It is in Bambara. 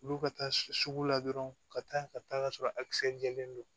Olu ka taa sugu la dɔrɔn ka taa ka taa ka sɔrɔ a kisɛ jɛlen don